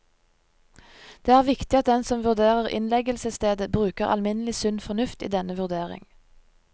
Det er viktig at den som vurderer innleggelsesstedet bruker alminnelig sunn fornuft i denne vurdering.